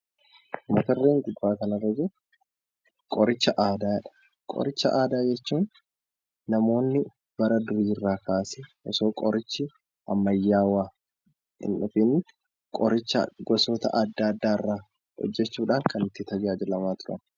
Qoricha aadaa jechuun namoonni bara durii kaasee osoo qorichi ammayyaa hin dhufiin qoricha gosa adda addaa fayyadamnudha.